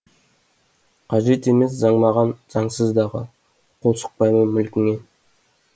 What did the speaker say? қажет емес заң маған заңсыз дағы қол сұқпаймын мүлкіңе